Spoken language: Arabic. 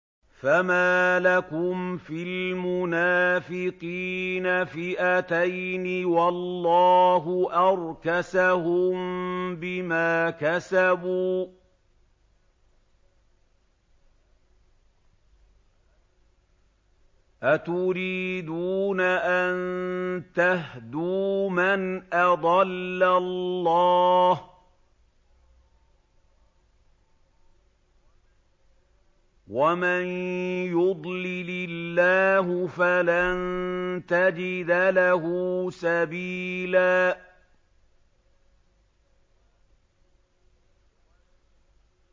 ۞ فَمَا لَكُمْ فِي الْمُنَافِقِينَ فِئَتَيْنِ وَاللَّهُ أَرْكَسَهُم بِمَا كَسَبُوا ۚ أَتُرِيدُونَ أَن تَهْدُوا مَنْ أَضَلَّ اللَّهُ ۖ وَمَن يُضْلِلِ اللَّهُ فَلَن تَجِدَ لَهُ سَبِيلًا